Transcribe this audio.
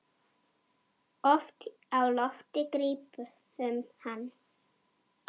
Oft á lofti grípum hann.